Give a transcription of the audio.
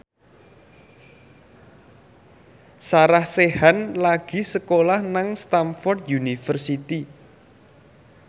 Sarah Sechan lagi sekolah nang Stamford University